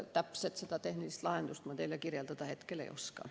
Täpselt seda tehnilist lahendust ma teile kirjeldada hetkel ei oska.